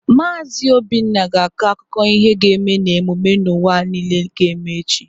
Maazi Obinna ga-akọ akụkọ ihe ga-eme na emume n'ụwa niile ga-eme echi.